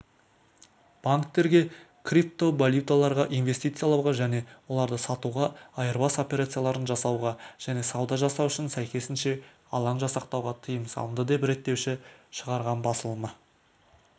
банктерге криптовалюталарға инвестициялауға және оларды сатуға айырбас операцияларын жасауға және сауда жасау үшін сәйкесінше алаң жасақтауға тыйым салынды деп реттеуші шығарған басылымның